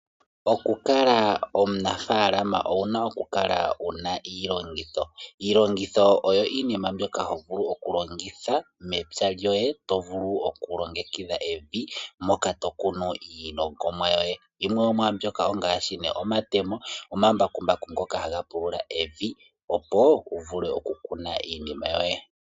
Okukala omunafaalama owuna okukala wuna iilongitho. Iilongitho oyo iinima mbyoka ho gulu okulongitha mepya lyoye to vulu okulongekidha evi moka to kunu iilongomwa yoye. Yimwe yomwaambyoka ongaashi nee omatemo, omambakumbaku ngoka haga pulula evi opo wu vule okukuna iimeno yoye.